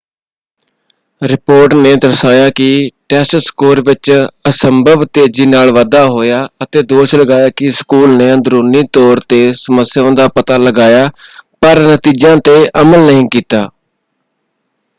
Report ਨੇ ਦਰਸਾਇਆ ਕਿ ਟੈਸਟ ਸਕੋਰ ਵਿੱਚ ਅਸੰਭਵ ਤੇਜ਼ੀ ਨਾਲ ਵਾਧਾ ਹੋਇਆ ਅਤੇ ਦੋਸ਼ ਲਗਾਇਆ ਕਿ ਸਕੂਲ ਨੇ ਅੰਦਰੂਨੀ ਤੌਰ 'ਤੇ ਸਮੱਸਿਆਵਾਂ ਦਾ ਪਤਾ ਲਗਾਇਆ ਪਰ ਨਤੀਜਿਆਂ 'ਤੇ ਅਮਲ ਨਹੀਂ ਕੀਤਾ।